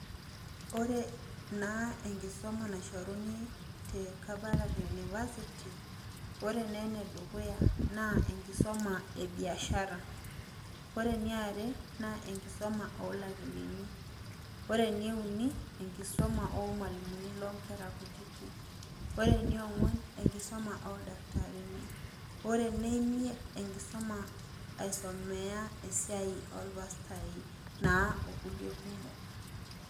Ore naa enkisoma naishoruni te kabarak university, ore neenedukuya naa enkisoma ebiashara. Ore niare naa enkisoma oolakili ni, ore nieuni enkisoma oolmwalimuni loonkera kutiti. Ore niong'uan enkisoma oldaktarini, ore neimiet enkisoma aisomea esiai olpastai naa okulie kumok.